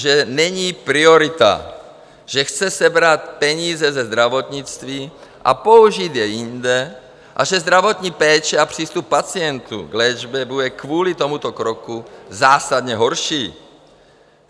Že není priorita, že chce sebrat peníze ze zdravotnictví a použít je jinde a že zdravotní péče a přístup pacientů k léčbě bude kvůli tomuto kroku zásadně horší.